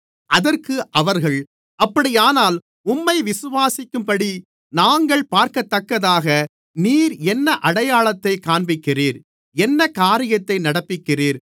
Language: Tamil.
அதற்கு அவர்கள் அப்படியானால் உம்மை விசுவாசிக்கும்படி நாங்கள் பார்க்கதக்கதாக நீர் என்ன அடையாளத்தைக் காண்பிக்கிறீர் என்ன காரியத்தை நடப்பிக்கிறீர்